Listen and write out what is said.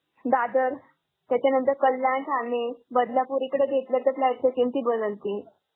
दादर त्याच्यानंतर कल्याण, ठाणे, बदलापूर इकडे घेतलं तर flat चे किंमती बदलतील.